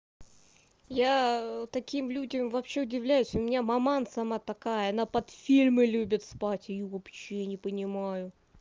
я таким людям вообще удивляюсь у меня маман сама такая она под фильмы любит спать её вообще не понимаю